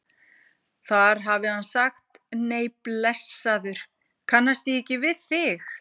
Þar hafi hann sagt: Nei blessaður, kannast ég ekki við þig?